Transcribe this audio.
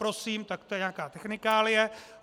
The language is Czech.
Prosím, tak to je nějaká technika.